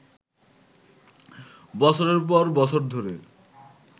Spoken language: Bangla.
বছরের পর বছর ধরে